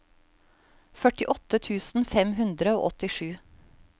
førtiåtte tusen fem hundre og åttisju